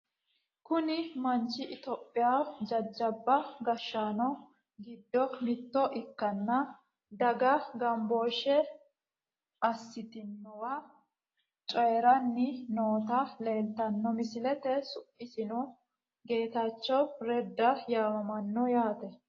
Kuni manchi itiyophiyaho jajjaba gashshaanno giddo mitto ikkanna daga gambooshshe assitinowa coyiiranni nooti leeltanno misileete su'misino getachewu reda yaamamano yaate